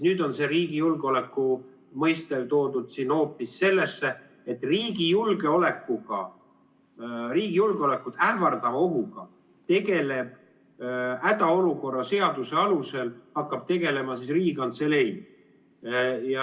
Nüüd on see riigi julgeoleku mõiste toodud siin hoopis sellesse, et riigi julgeolekut ähvardava ohuga hakkab hädaolukorra seaduse alusel tegelema Riigikantselei.